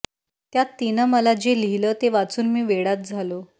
त्यात तिनं मला जे लिहिलं ते वाचून मी वेडाच झालो